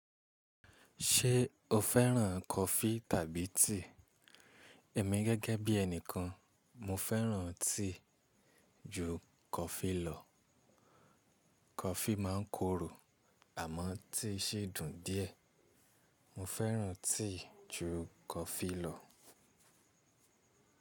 Ṣé o féràn coffee tàbí tea? Èmi gẹ́gẹ́ bí ẹni kan, mo féràn tea ju coffee lọ. Coffee máa ń korò àmọ́ tea sì dùn díẹ̀. Mo féràn tea ju coffee lọ.